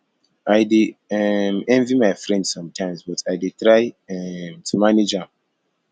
i dey um envy my friend sometimes but i dey try um to manage am